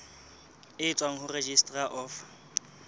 e tswang ho registrar of